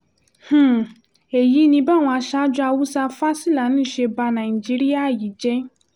um èyí ni báwọn aṣáájú haúsá-fásilani ṣe ba um nàìjíríà yìí jẹ́